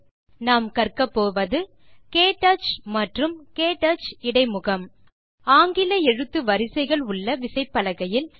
இந்த டியூட்டோரியல் லில் கற்கப்போவது க்டச் மற்றும் க்டச் இடைமுகம் ஆங்கில எழுத்து விசைகள் உள்ள விசைப்பலகையில்